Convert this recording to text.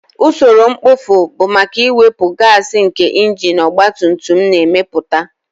Usoro mkpofu bụ maka iwepu gaasi nke injin ọgba tum tum na-emepụta